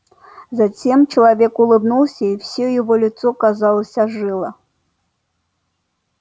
затем человек улыбнулся и всё его лицо казалось ожило